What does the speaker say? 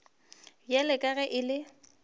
bjalo ka ge e le